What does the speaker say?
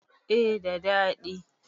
eh da dadi